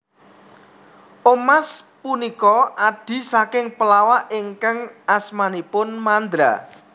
Omas punika adhi saking pelawak ingkang asmanipun Mandra